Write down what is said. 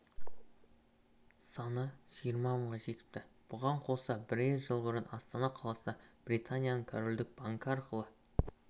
саны жиырма мыңға жетіпті бұған қоса бірер жыл бұрын астана қаласында британияның корольдік банкі арқылы